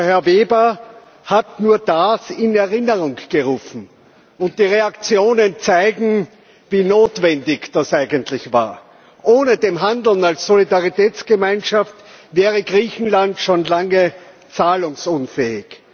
Herr Weber hat das nur in Erinnerung gerufen. Die Reaktionen zeigen, wie notwendig das eigentlich war. Ohne das Handeln als Solidaritätsgemeinschaft wäre Griechenland schon lange zahlungsunfähig.